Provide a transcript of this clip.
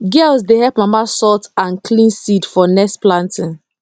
girls dey help mama sort and clean seed for next planting